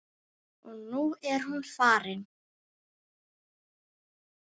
Og nú er hún farin.